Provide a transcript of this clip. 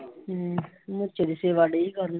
ਹਮ